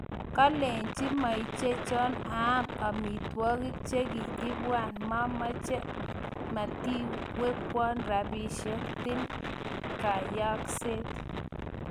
kalechi meichichon aam amitwagik chegi ipwan . Mamache , matiwekwan rapisieg , til kayaakseet